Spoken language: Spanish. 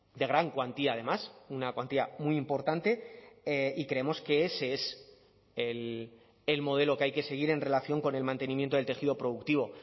de gran cuantía además una cuantía muy importante y creemos que ese es el modelo que hay que seguir en relación con el mantenimiento del tejido productivo